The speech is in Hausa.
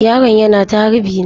Yaron yana ta harbi na.